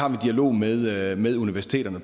en dialog med med universiteterne